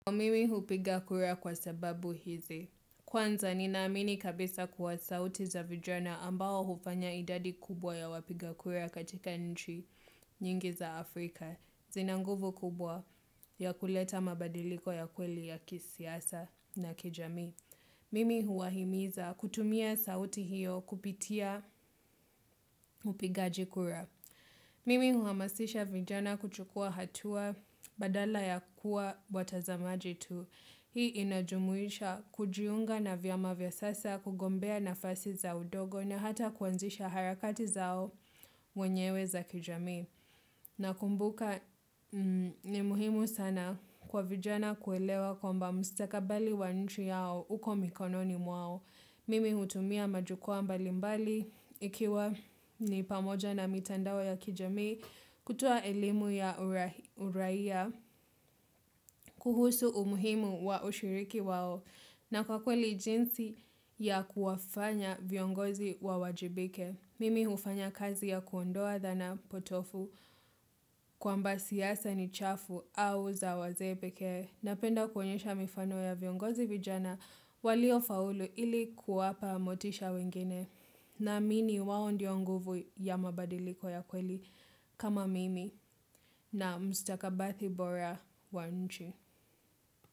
Kwa mimi hupiga kura kwa sababu hizi, kwanza ninaamini kabisa kuwa sauti za vijana ambao hufanya idadi kubwa ya wapiga kura katika nchi nyingi za Afrika, zinanguvu kubwa ya kuleta mabadiliko ya kweli ya kisiasa na kijamii. Mimi huwahimiza kutumia sauti hiyo kupitia upigaji kura. Mimi huamasisha vijana kuchukua hatua badala ya kuwa watazamaji tu. Hii inajumuisha kujiunga na vyama vya siasa kugombea nafasi za udogo na hata kuanzisha harakati zao menyewe za kijamii. Na kumbuka ni muhimu sana kwa vijana kuelewa kwamba mustakabali wa nchi yao uko mikononi mwao. Mimi hutumia majukwaa mbalimbali, ikiwa ni pamoja na mitandao ya kijamii, kutoa elimu ya uraia, kuhusu umuhimu wa ushiriki wao, na kwa kweli jinsi ya kuwafanya viongozi wa wajibike. Mimi hufanya kazi ya kuondoa dhana potofu kwamba siasa ni chafu au zawazee pekee napenda kwenyesha mifano ya viongozi vijana walio faulu ili kuwapa motisha wengine naamini wao ndiyo nguvu ya mabadiriko ya kweli kama mimi na mustakabali bora wanchi.